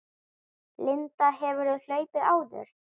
Linda: Hefurðu hlaupið áður?